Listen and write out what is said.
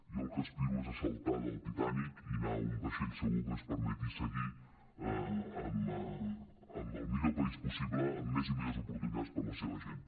jo al que aspiro és a saltar del titanic i anar a un vaixell segur que ens permeti seguir amb el millor país possible amb més i millors oportunitats per a la seva gent